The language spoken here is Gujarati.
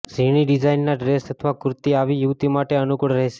ઝીણી ડિઝાઈનના ડ્રેસ અથવા કુર્તી આવી યુવતી માટે અનુકૂળ રહેશે